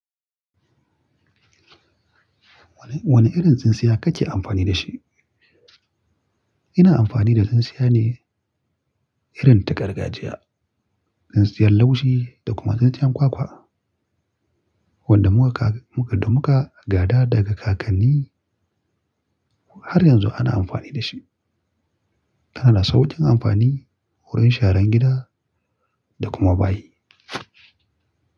Wane irin tsintsiya kake amfani da shi? Ina amfani da tsintsiya ne irin ta gargajiya, tsintsiyar laushi da kuma tsintsiyar ƙwaƙwa wadda muka gada daga kakanni har yanzu ana amfani da shi. Tana da saukin amfani, wurin sharan gida da kuma bayi.